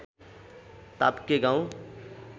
ताप्के गाउँ